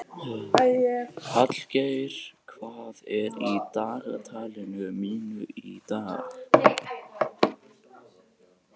Hallgeir, hvað er í dagatalinu mínu í dag?